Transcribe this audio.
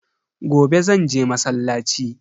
Gobe zanje masallaci.